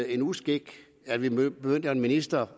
en uskik at vi giver en minister